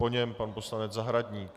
Po něm pan poslanec Zahradník.